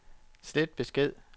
slet besked